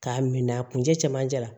K'a min a kun cɛmancɛ la